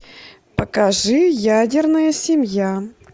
покажи ядерная семья